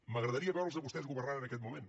m’agradaria veure’ls a vostès governant en aquest moment